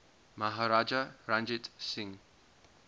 maharaja ranjit singh